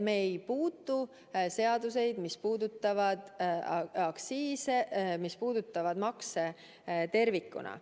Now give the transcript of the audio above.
Me ei puutu seaduseid, mis puudutavad aktsiise, mis puudutavad makse tervikuna.